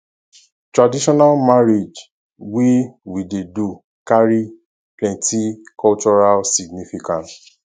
traditional marriage wey we dey do carry plenty cultural significance